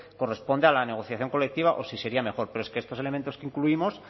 corresponde a la negociación colectiva o si sería mejor pero es que estos elementos que incluimos